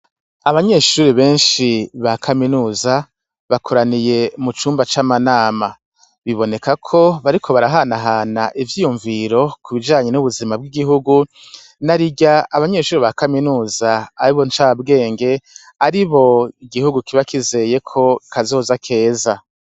Abanyeshure benshi ba kaminuza bakoraniye mu cumba c'amanama. Bibonekako bariko barahanahana ivyiyumviro ku bijanye n'ubuzima bw'igihugu narirya abanyeshure ba kaminuza aribo ncabwenge, aribo igihugu kiba kizeyeko kazoza keza.